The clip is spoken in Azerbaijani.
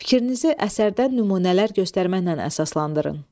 Fikrinizi əsərdən nümunələr göstərməklə əsaslandırın.